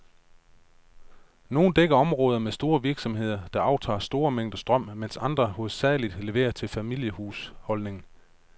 Nogle dækker områder med store virksomheder, der aftager store mængder strøm, mens andre hovedsageligt leverer til familiehusholdninger.